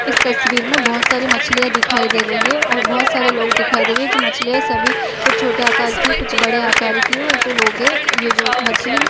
इस तस्वीर में बहोत सारी मछलियाँ दिखाई दे रही है और बहोत सारे लोग दिखाई दे रहे है जो मछलियाँ सभी कुछ छोटे आकार की कुछ बड़े आकार की और जो लोग है ये जो मछली--